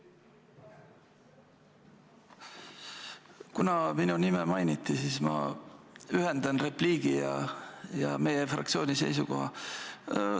Kuna minu nime mainiti, siis ma ühendan repliigi ja meie fraktsiooni seisukoha.